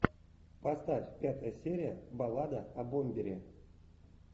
поставь пятая серия баллада о бомбере